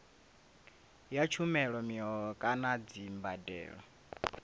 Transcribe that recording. ya tshumelo mihoho kana dzimbadelo